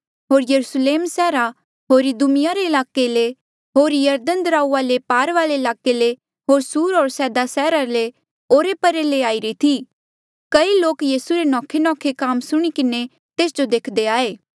होर यरुस्लेम सैहरा होर इदुमिया रे ईलाके ले होर यरदन दराऊआ ले पार वाले ईलाके ले होर सुर होर सैदा सैहरा ले ओरे परे ले आईरी थी कई लोक यीसू रे नौखेनौखे काम सुणी किन्हें तेस जो देखदे आये